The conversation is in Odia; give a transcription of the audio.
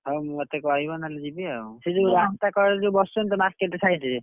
ହଉ ମତେ କହିବ ନହଲେ ଯିବି ଆଉ ସେ ଯୋଉ ରାସ୍ତା କଡରେ ଯୋଉ ବସିଛନ୍ତି ତ market side ରେ,